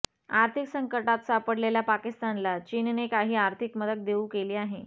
आर्थिक संकटात सापडलेल्या पाकिस्तानला चीनने काही आर्थिक मदत देऊ केली आहे